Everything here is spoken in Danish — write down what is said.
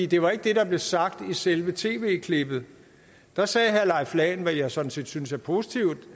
det var ikke det der blev sagt i selve tv klippet da sagde herre leif lahn jensen hvad jeg sådan set synes er positivt